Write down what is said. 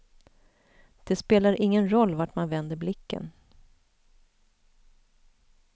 Det spelar ingen roll vart man vänder blicken.